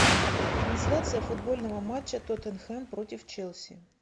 трансляция футбольного матча тоттенхэм против челси